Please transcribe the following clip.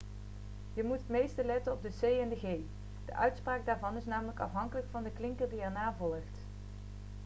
je moet het meeste letten op de c en de g de uitspraak daarvan is namelijk afhankelijk van de klinker die erna volgt